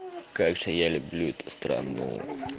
как же я люблю это странну